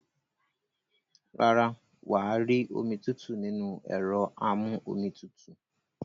Rárá, wà á rí omi tútù nínú ẹ̀rọ amú-omi tutù.